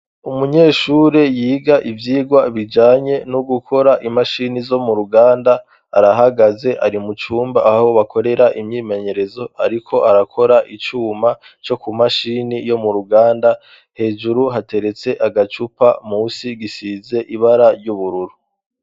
Umunyeshure yiga ivyirwa bijanye no gukora imashini zo mu ruganda arahagaze ari mucumba aho bakorera imyimenyerezo, ariko arakora icuma co ku mashini yo mu ruganda hejuru hateretse agacupa musi gisize ibara ry'ubururu.